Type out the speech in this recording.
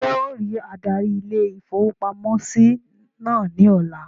Ṣé ọ rí adarí ilé-ìfowópamọ́sí náà ní ọ̀la?